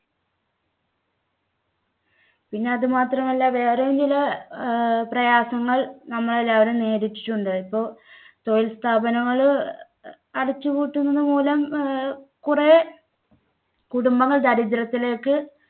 പിന്നെ അത് മാത്രമല്ല വേറെയും ചില~ പ്രയാസങ്ങൾ നമ്മളെല്ലാവരും നേരിട്ടിട്ടുണ്ട്. ഇപ്പൊ തൊഴിൽ സ്ഥാപനങ്ങള് അ~ അടച്ചു പൂട്ടുന്നത് മൂലം അഹ് കുറേ കുടുംബങ്ങൾ ദരിദ്ര്യത്തിലേക്ക്